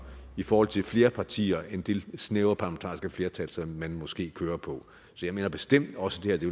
i forhold til flere partier end det snævre parlamentariske flertal som man måske kører på så jeg mener bestemt også at det